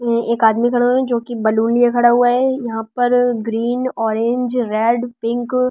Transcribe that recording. एक आदमी खड़े हुए हैं जो कि बलून लिए खड़े हुए हैं यहां पर ग्रीन ऑरेंज रेड पिंक --